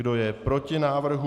Kdo je proti návrhu?